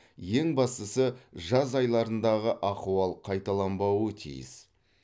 ең бастысы жаз айларындағы ахуал қайталанбауы тиіс